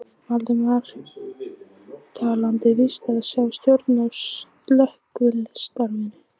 Valdimar taldi víst að sá stjórnaði slökkvistarfinu.